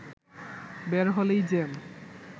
বের হলেই জ্যাম